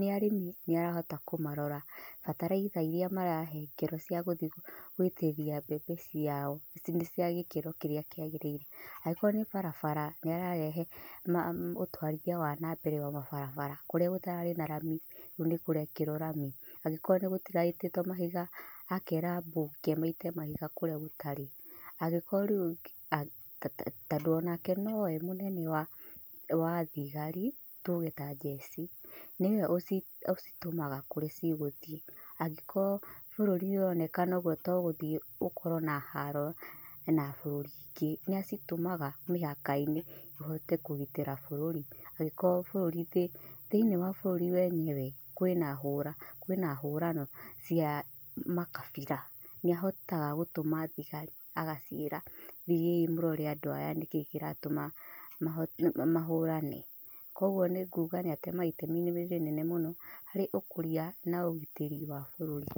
nĩ arĩmi nĩ arahota kũmarora, bataraitha iria marahengerwo ciagũthiĩ gũitĩrĩria mbembe ciao, nĩ ciagĩkĩro kĩrĩa kĩagĩrĩire, angĩkorwo nĩ barabara nĩararehe ma ũtwarithia wa nambere wa ma barabara, kũrĩa gũtararĩ na rami rĩu nĩ kũrekerwo rami, angĩkoro gũtiraitĩtwo mahiga, akera abunge maite mahiga kũrĩa gũtarĩ, angĩkoro rĩu to to tondũ onake nowe mũnene wa wathigari tuge ta njeci, nĩwe ũ ũcitũmaga kũrĩa cigũthiĩ, angĩkorwo bũrũri nĩ ũronekana ũguo togũthiĩ ũkorwo na haro na bũrũri ingĩ, nĩ acitũmaga mĩhaka-inĩ ũhote kũgitĩra bũrũri, angĩkorwo bũrũri, thĩinĩ wa bũrũri wenyewe kwĩna hũra, kwĩna hũrano cia makabira, nĩahotaga gũtũma thigari agaciĩra thiĩi mũrore andũ aya nĩkĩ kĩratũma maho mahorane, koguo nĩ nguga nĩ atemaga itemi rĩnene mũno, harĩ ũkũria na ũgitĩri wa bũrũri.